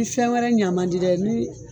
Ni fɛn wɛrɛ ɲa mandi dɛ ni